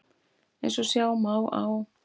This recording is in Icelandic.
Eins og sjá má á